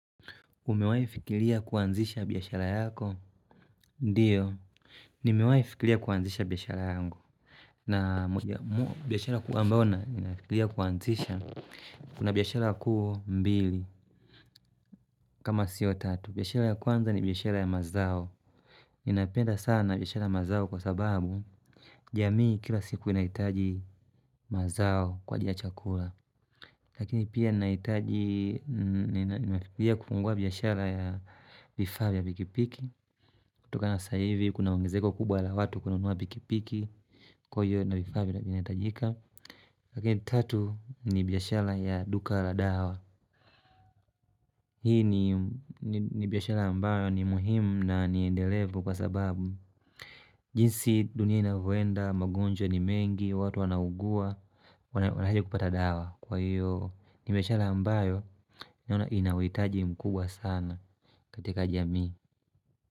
Umewahi fikiria kuanzisha biashara yako? Ndio, nimewahi fikiria kuanzisha biashara yangu. Na biashara kuu amboo, ninafikiria kuanzisha. Una biashara kuu mbili, kama sio tatu. Biashara ya kwanza ni biashara ya mazao. Ninapenda sana biashara ya mazao kwa sababu, jamii kila siku inahitaji mazao kwa ajili ya chakula. Lakini pia ninahitaji kufungua biashara ya vifaa vya pikipiki kutokana saa hivi kuna uongezeko kubwa la watu kununua pikipiki kuwa hivo bidhaa vinahitajika Lakini tatu ni biashara ya duka la dawa Hii ni biashara ambayo ni muhimu na niendelevu kwa sababu jinsi dunia inavyoenda, magonjwa ni mengi, watu wanaugua, wanawekupata dawa Kwa hiyo ni biashara ambayo Ninaona inauhitaji mkubwa sana katika jami.